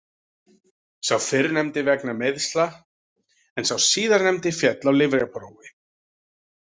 Sá fyrrnefndi vegna meiðsla en sá síðarnefndi féll á lyfjaprófi.